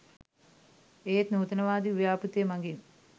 ඒත් නූතනවාදී ව්‍යාපෘතිය මගින්